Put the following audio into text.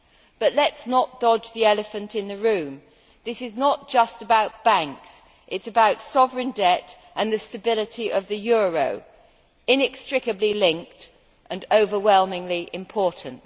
But let us not dodge the elephant in the room this is not just about banks, it is about sovereign debt and the stability of the euro inextricably linked and overwhelmingly important.